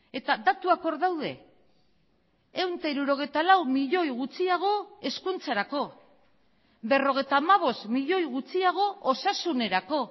eta datuak hor daude ehun eta hirurogeita lau milioi gutxiago hezkuntzarako berrogeita hamabost milioi gutxiago osasunerako